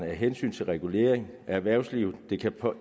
med hensyn til regulering af erhvervslivet